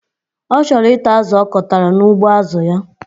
Ọ chọrọ ita azụ ọkọtara n'ugbo azụ ya